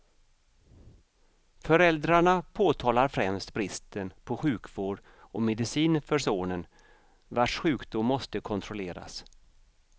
Föräldrarna påtalar främst bristen på sjukvård och medicin för sonen, vars sjukdom måste kontrolleras.